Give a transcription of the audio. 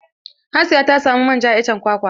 Hasiya ta samu manja a iccen kwakwa.